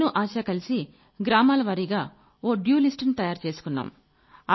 నేను ఆశ కలిసి గ్రామాల వారీగా ఓ డ్యూ లిస్ట్ ని తయారు చేసుకున్నాం